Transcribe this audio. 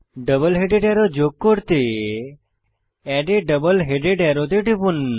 double headed arrow যোগ করতে add a double headed arrow তে টিপুন